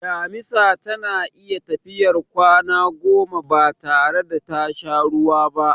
Damisa tana iya tafiyar kwana goma batare da tasha ruwa ba.